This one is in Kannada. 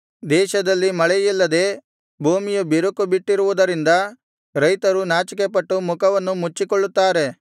ದೇಶದಲ್ಲಿ ಮಳೆಯಿಲ್ಲದೆ ಭೂಮಿಯು ಬಿರುಕುಬಿಟ್ಟಿರುವುದರಿಂದ ರೈತರು ನಾಚಿಕೆಪಟ್ಟು ಮುಖವನ್ನು ಮುಚ್ಚಿಕೊಳ್ಳುತ್ತಾರೆ